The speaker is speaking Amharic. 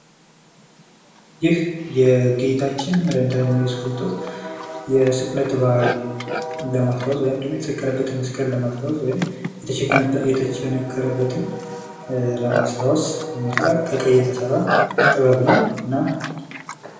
ይህ የጌታችን የመድኃኒታችን የኢየሱስ ክርስቶስ የስቅለት በዓል ለማክበር ወይም ደግሞ የተሰቀለበትን መስቀል ለማስታወስ ወይም ደግሞ የተቸነከረበትን ለማስታወስ ይነሳል። ከቀይ የተሰራ ጥበብ ነው ።እና..